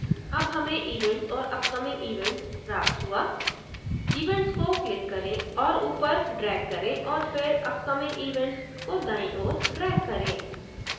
अब हमें events और upcoming events प्राप्त हुआ events को क्लिक करें और ऊपर ड्रेग करें और फिर upcoming events को दाईं ओर ड्रेग करें